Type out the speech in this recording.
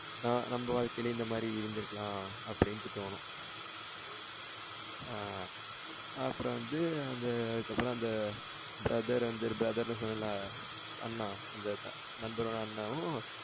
ஆ நம்ம வாழ்க்கையிலும் இந்த மாரி இருந்து இருக்கலாம். அப்டினுட்டு தோணும். ஆ அப்புறம் வந்து அந்த அதுக்கு அப்புறம் வந்து அந்த brother வந்து brother னு சொன்னேன்ல அண்ணா அந்த நண்பரோட அண்ணாவும்